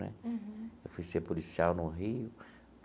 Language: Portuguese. Né eu fui ser policial no Rio.